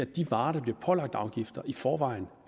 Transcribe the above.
de varer der bliver pålagt afgifter i forvejen